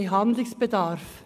Es besteht Handlungsbedarf.